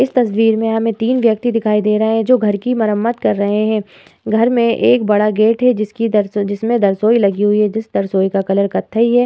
इस तस्वीर में हमे तीन व्यक्ति दिखाई दे रहे हैं जो घर कि मरामत कर रहे हैं। घर मे एक बड़ा गेट है। जिसकी जिसमे बरसोई लगी हुई है जिस बरसोई का कलर कत्थई है।